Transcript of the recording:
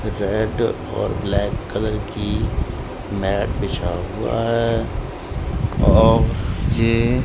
red और black colour की mat बिछा हुआ है और ये--